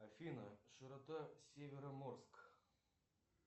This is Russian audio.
афина широта североморск